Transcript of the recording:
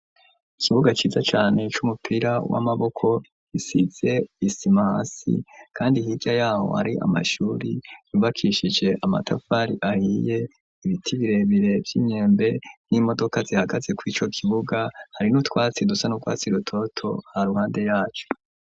Ikibuga ciza cane c'umupira w'amaboko isize isimahasi kandi hirya yabo ari amashuri yubakishije amatafari ahiye ibiti birebire vy'imyembe n'imodoka zihagatse kw'ico kibuga hari n'utwatsi dusan'ukwasi rutoto ha ruhande yacu.